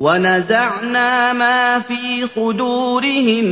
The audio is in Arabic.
وَنَزَعْنَا مَا فِي صُدُورِهِم